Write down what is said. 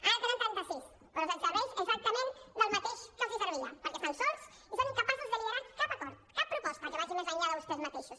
ara en tenen trenta sis però els serveix exactament del mateix que els servia perquè estan sols i són incapaços de liderar cap acord cap proposta que vagi més enllà de vostès mateixos